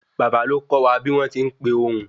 Bàbá ló kọ wa bí wọn tin pe ohùn